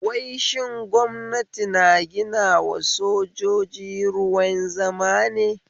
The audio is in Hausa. Wai shin gwamnati na ginawa sojoji wruin zama ne?